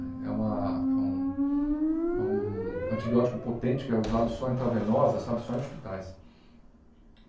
É uma é um é um antibiótico potente que é usado só em intravenosa, só em hospitais.